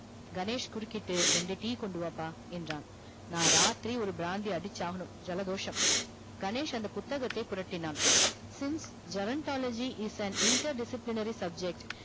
கணேஷ் குறிக்கிட்டு ரெண்டு tea கொண்டு வாப்பா என்றான் நா ராத்திரி ஒரு பிராந்தி அடிச்சாகனும் ஜலதோஷம் கணேஷ் அந்த புத்தகதை புரட்டினான் since seventhology is an inter disciplinary subject